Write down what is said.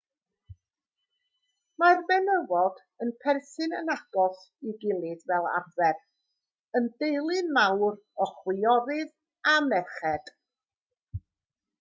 mae'r menywod yn perthyn yn agos i'w gilydd fel arfer yn deulu mawr o chwiorydd a merched